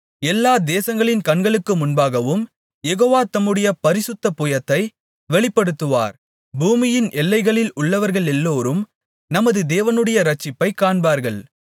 எல்லா தேசங்களின் கண்களுக்கு முன்பாகவும் யெகோவா தம்முடைய பரிசுத்த புயத்தை வெளிப்படுத்துவார் பூமியின் எல்லைகளில் உள்ளவர்களெல்லோரும் நமது தேவனுடைய இரட்சிப்பைக் காண்பார்கள்